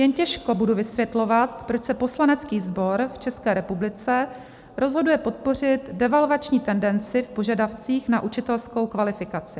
Jen těžko budu vysvětlovat, proč se poslanecký sbor v České republice rozhoduje podpořit devalvační tendenci v požadavcích na učitelskou kvalifikaci.